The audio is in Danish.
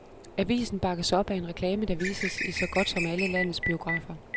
Avisen bakkes op af en reklame, der vises i så godt som alle landets biografer.